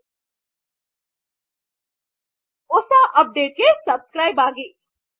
ನೂತನ updates ಗಾಗಿ ದಯವಿಟ್ಟು ಸಬ್ಸ್ಕ್ರೈಬ್ ಆಗಿ